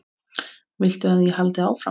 Getur sjálfri sér um kennt.